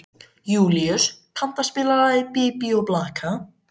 Júlíus, kanntu að spila lagið „Bí bí og blaka“?